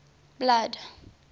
blood